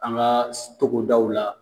An ka togodaw la